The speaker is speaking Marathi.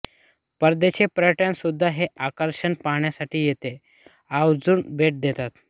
परदेशी पर्यटकसुद्धा हे आकर्षण पाहण्यासाठी येथे आवर्जून भेट देतात